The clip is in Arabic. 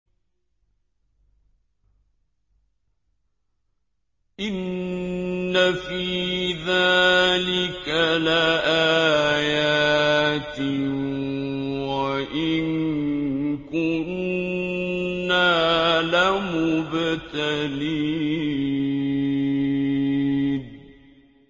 إِنَّ فِي ذَٰلِكَ لَآيَاتٍ وَإِن كُنَّا لَمُبْتَلِينَ